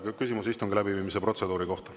Küsimus istungi läbiviimise protseduuri kohta.